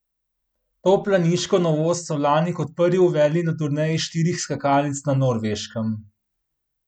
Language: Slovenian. To planiško novost so lani kot prvi uvedli na turneji štirih skakalnic na Norveškem.